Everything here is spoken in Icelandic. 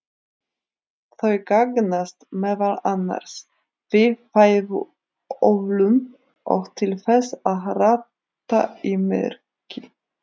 Þau gagnast meðal annars við fæðuöflun og til þess að rata í myrkri.